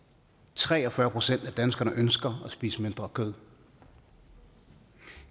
tre og fyrre procent af danskerne ønsker at spise mindre kød